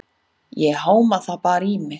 Ég háma það bara í mig.